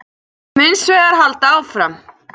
Við munum hins vegar halda áfram